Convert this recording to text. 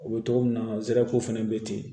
U bɛ togo min na zew fɛnɛ be ten